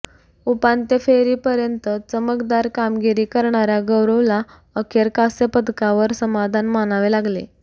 उपांत्य फेरीपर्यंत चमकदार कामगिरी करणाऱया गौरवला अखेर कांस्यपदकावर समाधान मानावे लागले